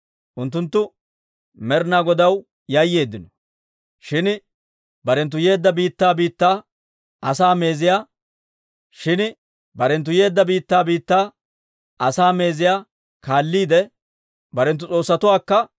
Unttunttu Med'ina Godaw yayyeeddino; shin barenttu yeedda biittaa biittaa asaa meeziyaa kaalliide, barenttu s'oossatookka goynneeddino.